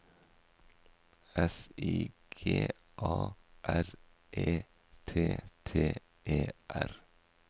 S I G A R E T T E R